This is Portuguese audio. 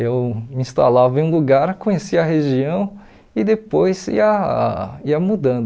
Eu me instalava em um lugar, conhecia a região e depois ia ia mudando.